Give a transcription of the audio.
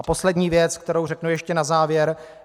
A poslední věc, kterou řeknu ještě na závěr.